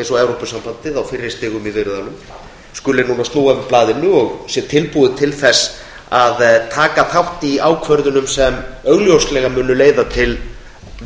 eins og evrópusambandið á fyrri stigum í viðræðunum skuli nú snúa við blaðinu og vera tilbúnir til þess að taka þátt í ákvörðunum sem augljóslega munu leiða til